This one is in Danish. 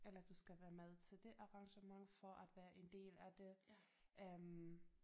Eller du skal være med til det arrangement for at være en del af det øh